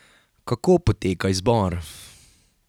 Kako poteka izbor?